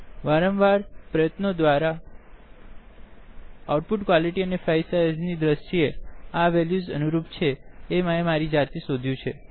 વારંવાર પ્રયત્નો દ્વારા આઉટ પુટક્વલિટીને ફાઈલ સાઈઝ ના દ્રશ્યે આ વેલ્યુસ અનુરૂપ છેતે મેં મારી જાતે શોધ્યું છે